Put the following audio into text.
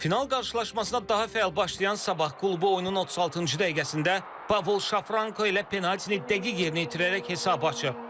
Final qarşılaşmasına daha fəal başlayan Sabah klubu oyunun 36-cı dəqiqəsində Pavol Şafranko ilə penaltini dəqiq yerinə yetirərək hesabı açıb.